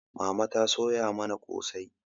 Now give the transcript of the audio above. Mama ta soya mana kosai